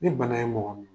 Ni bana ye mɔgɔ minɛ